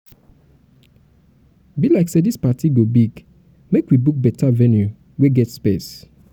be like say this party go big make we go book beta venue wey get space.